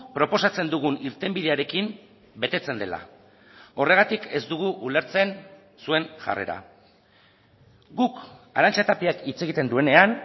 proposatzen dugun irtenbidearekin betetzen dela horregatik ez dugu ulertzen zuen jarrera guk arantza tapiak hitz egiten duenean